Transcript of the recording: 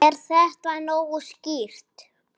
Er þetta nógu skýrt?